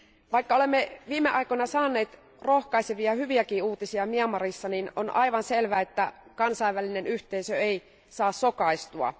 Vaikka olemme viime aikoina saaneet rohkaisevia ja hyviäkin uutisia Myanmarista, niin on aivan selvää, että kansainvälinen yhteisö ei saa sokaistua.